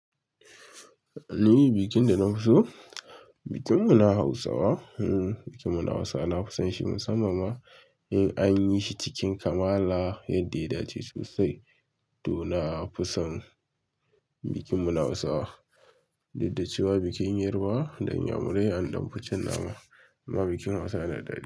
Ni bikin da na fi so, bikin mu na hawusawa. Bikin mu na hawusawa, na fi son shi musamman ma in an yi shi cikin kamala yadda ya dace sosai. To na fi son bikin mu na hawusawa, duk da cewa bikin yarbawa da inyamurai an dan fi cin nama. Amma bikin Hausawa yana da dadi.